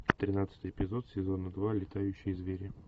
тринадцатый эпизод сезона два летающие звери